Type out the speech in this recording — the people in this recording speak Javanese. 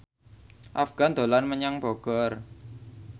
Afgan dolan menyang Bogor